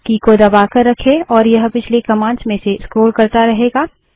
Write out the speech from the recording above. की को दबाकर रखें और यह पिछली कमांड्स में से स्क्रोल करता रहेगा